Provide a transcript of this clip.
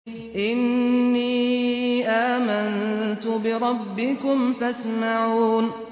إِنِّي آمَنتُ بِرَبِّكُمْ فَاسْمَعُونِ